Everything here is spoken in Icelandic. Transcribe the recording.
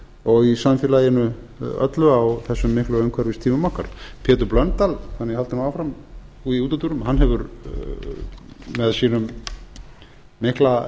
og í samfélaginu öllu á þessum miklu umhverfistímum okkar pétur blöndal þannig að ég haldi nú áfram í útúrdúrum hann hefur með sínum mikla